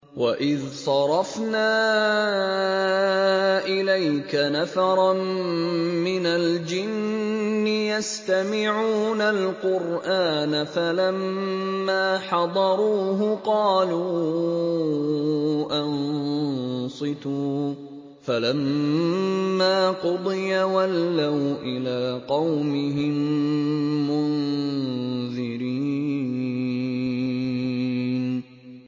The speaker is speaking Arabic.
وَإِذْ صَرَفْنَا إِلَيْكَ نَفَرًا مِّنَ الْجِنِّ يَسْتَمِعُونَ الْقُرْآنَ فَلَمَّا حَضَرُوهُ قَالُوا أَنصِتُوا ۖ فَلَمَّا قُضِيَ وَلَّوْا إِلَىٰ قَوْمِهِم مُّنذِرِينَ